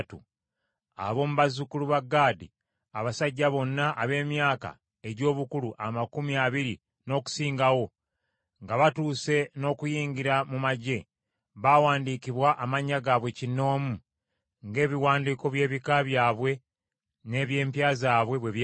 Ab’omu bazzukulu ba Gaadi: Abasajja bonna ab’emyaka egy’obukulu amakumi abiri n’okusingawo, nga batuuse n’okuyingira mu magye, baawandiikibwa amannya gaabwe kinnoomu, ng’ebiwandiiko by’ebika byabwe, n’eby’empya zaabwe bwe byali.